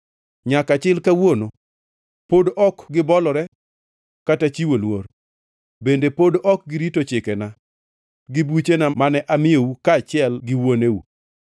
Nyaka chil kawuono pod ok gibolore kata chiwo luor, bende pod ok girito chikena gi buchena mane amiyou kaachiel gi wuoneu.